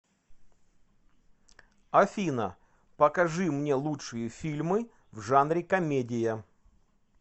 афина покажи мне лучшие фильмы в жанре комедия